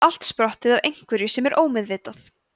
er það allt sprottið af einhverju sem er ómeðvitað